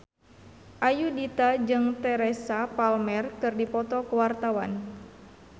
Ayudhita jeung Teresa Palmer keur dipoto ku wartawan